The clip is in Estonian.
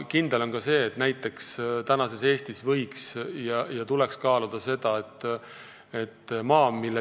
Kindel on ka see, et näiteks tänases Eestis võiks ja tuleks kaaluda seda maaküsimust.